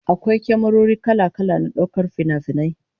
Akwai kyamarori kala-kala na daukar finafinai